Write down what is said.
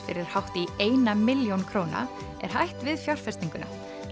fyrir hátt í eina milljón króna er hætt við fjárfestinguna